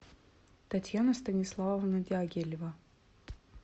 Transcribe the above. татьяна станиславовна дягилева